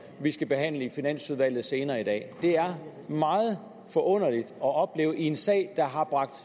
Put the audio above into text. vi skal behandle i finansudvalget senere i dag det er meget forunderligt at opleve i en sag der har bragt